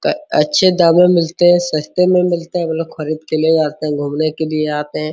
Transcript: अच्छे दामों में मिलते हैं सस्ते में मिलते हैं वो लोग खरीद के ले जाते हैं घूमने के लिए आते हैं |